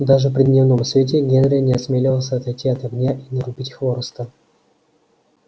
даже при дневном свете генри не осмеливался отойти от огня и нарубить хвороста